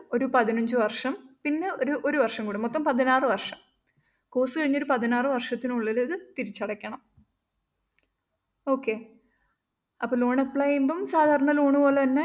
ഒരു പതിനഞ്ച് വര്‍ഷം പിന്നെ ഒരു ഒരു വര്‍ഷം കൂടി മൊത്തം പതിനാറ് വര്‍ഷം course കഴിഞ്ഞ് ഒരു പതിനാറ് വര്‍ഷത്തിനുള്ളില്‍ ഇത് തിരിച്ചടക്കണം. okay അപ്പം loan apply ചെയ്യുമ്പം സാധാരണ loan പോലെതന്നെ